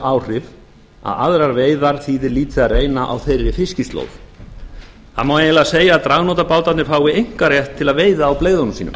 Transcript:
áhrif að aðrar veiðar þýðir lítið að reyna þeirra fiskislóð það má eiginlega segja að dragnótabátarnir fái einkarétt til að veiða á galeiðunum sínum